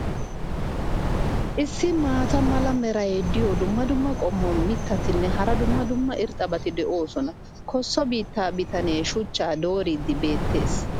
issi maata mala meray diyo dumma dumma qommo mitattinne hara dumma dumma irxxabati de'oosona. kosso biittaa bitanee shuchchaa dooriidi beetees.